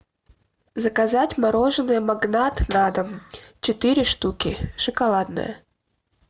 заказать мороженое магнат на дом четыре штуки шоколадное